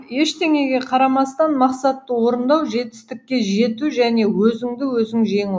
ештеңеге қарамастан мақсатты орындау жетістікке жету және өзіңді өзің жеңу